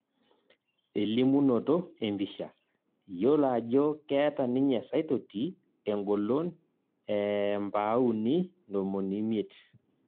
Elimunoto empisha, yiolo ajo keeta ninye Saitoti engolon ee mpauni ntomoni miet